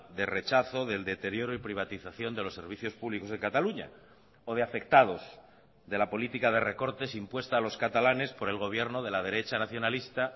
de rechazo del deterioro y privatización de los servicios públicos de cataluña o de afectados de la política de recortes impuesta a los catalanes por el gobierno de la derecha nacionalista